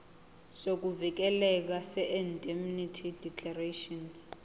sokuvikeleka seindemnity declaration